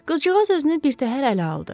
Qızcığaz özünü birtəhər ələ aldı.